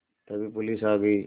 तभी पुलिस आ गई